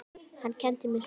Hann kenndi mér svo margt.